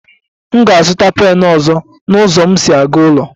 M ga-azụta pen ọzọ na ụzọ m si aga n'ụlọ